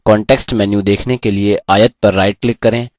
हम इन आकारों को भी format कर सकते हैं!